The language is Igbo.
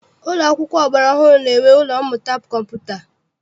Ụlọ akwụkwọ ọgbara ọhụrụ na-enwe ụlọ mmụta kọmputa.